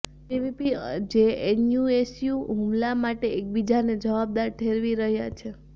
ABVP અને JNUSU હુમલા માટે એકબીજાને જવાબદાર ઠેરવી રહ્યા છે